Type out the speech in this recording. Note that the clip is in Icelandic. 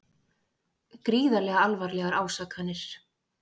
Gríðarlega alvarlegar ásakanir